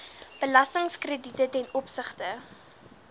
belastingkrediete ten opsigte